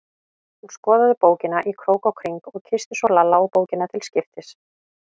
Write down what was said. Hún skoðaði bókina í krók og kring og kyssti svo Lalla og bókina til skiptis.